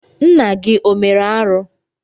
Nna gị o mere arụ?